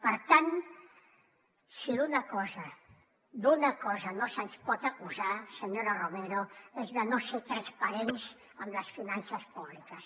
per tant si d’una cosa no se’ns pot acusar senyora romero és de no ser transparents amb les finances públiques